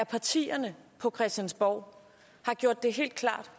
partierne på christiansborg har gjort det helt klart